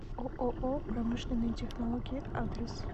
ооо промышленные технологии адрес